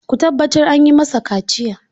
Ku tabbatar an yi masa kaciya!